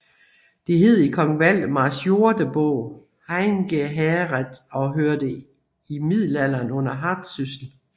Det hed i Kong Valdemars Jordebog Heingæhæreth og hørte i middelalderen under Hardsyssel